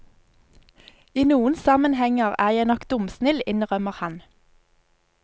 I noen sammenhenger er jeg nok dumsnill, innrømmer han.